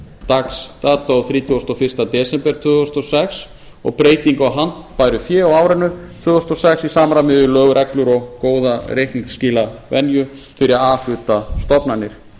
dags dag þrítugasta og fyrsta desember tvö þúsund og sex og breyting á handbæru fé á árinu tvö þúsund og sex í samræmi við lög og reglur og góða reikningsskilavenju fyrir a hluta stofnanir